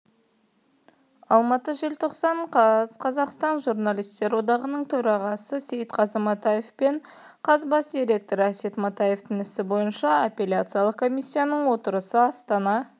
алматы желтоқсан қаз қазақстан журналистер одағының төрағасы сейтқазы матаев пен қаз бас директоры әсет матаевтың ісі бойынша аппеляциялық комиссияның отырысы астана